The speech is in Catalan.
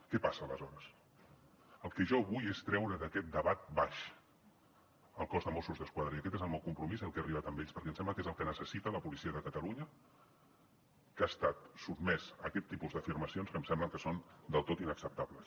què passa aleshores el que jo vull és treure d’aquest debat baix el cos de mossos d’esquadra i aquest és el meu compromís al qual he arribat amb ells perquè em sembla que és el que necessita la policia de catalunya que ha estat sotmesa a aquest tipus d’afirmacions que em sembla que són del tot inacceptables